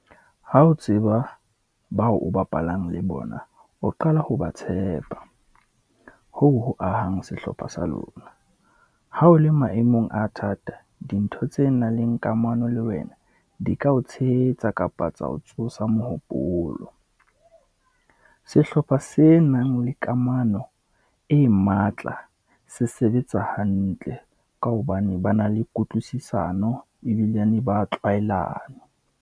Ha o tseba bao o bapalang le bona, o qala ho ba tshepa. Hoo ho ahang sehlopha sa lona. Ha o le maemong a thata, dintho tse nang le kamano le wena, di ka o tshehetsa kapa ka tsa ho tsosa mohopolo. Sehlopha se nang le kamano e matla se sebetsa hantle, ka hobane ba na le kutlwisisano ebilane, ba tlwaelane.